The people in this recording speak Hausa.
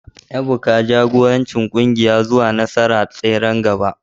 Ebuka, jagoranci kungiyar zuwa nasara a tseren gaba